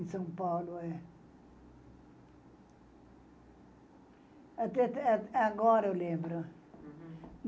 Em São Paulo, é. Até até agora eu lembro.